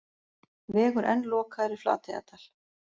Vegur enn lokaður í Flateyjardal